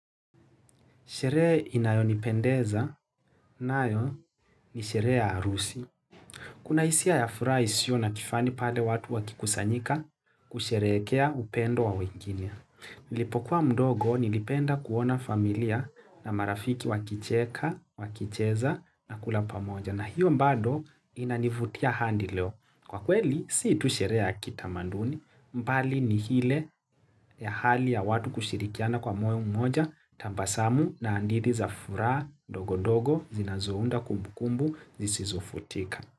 Sheree inayonipendeza na yo ni sheree ya arusi. Kuna isia ya fura isio na kifani pale watu wakikusanyika kusherekea upendo wawingine. Nilipokuwa mdogo nilipenda kuona familia na marafiki wakicheka, wakicheza na kula pamoja. Na hiyo mbado inanivutia handi leo. Kwa kweli, si itusherea kitamanduni, mbali ni hile ya hali ya watu kushirikiana kwa moyo mmoja, tambasamu na andiri za fura, ndogondogo, zinazounda kumbukumbu, zisizofutika.